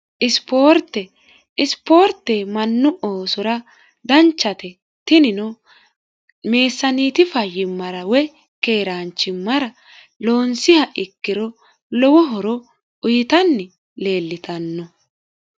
isipoorte mannu oosora danchate tinino meessaaniiti fayyimmara woy keeraanchimmara loonsiha ikkiro lowo horo uyitanni leellitanno